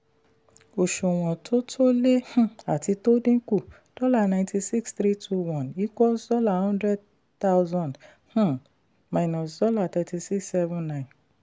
òṣùwọ̀n tó tó lé um àti tó dínkù: dollar ninety six three two one equals dollar hundred thousand um minus dollar thirty six seven nine